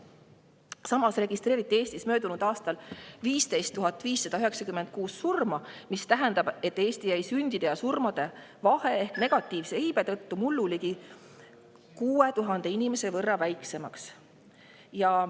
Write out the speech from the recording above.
Samas registreeriti Eestis möödunud aastal 15 596 surma, mis tähendab, et Eesti jäi sündide ja surmade vahe ehk negatiivse iibe tõttu mullu ligi 6000 inimese võrra väiksemaks.